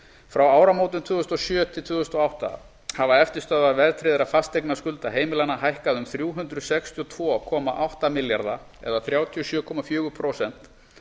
frá áramótum tvö þúsund og sjö tvö þúsund og átta hafa eftirstöðvar verðtryggðra fasteignaskulda heimilanna hækkað um þrjú hundruð sextíu og tvö komma átta baka eða þrjátíu og sjö komma fjögur prósent